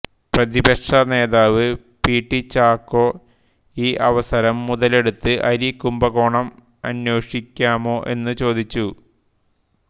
പ്രതിപക്ഷനേതാവ് P T Chacko ഈ അവസരം മുതലെടുത്ത് അരി കുംഭകോണം അന്വേഷിക്കാമോ എന്നു ചോദിച്ചു